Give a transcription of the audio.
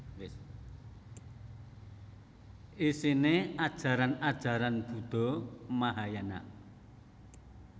Isine ajaran ajaran Buddha Mahayana